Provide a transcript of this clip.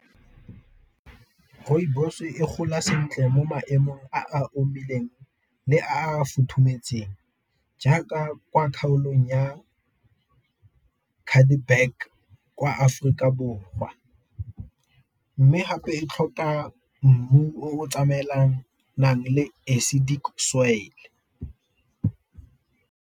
Rooibos e gola sentle mo maemong a a omileng le a a futhumetseng, jaaka kwa kgaolong ya kwa Aforika Borwa. Mme gape e tlhoka mmu o tsamaelanang le acidic soil.